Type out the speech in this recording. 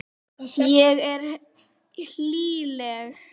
Ég er hlýleg.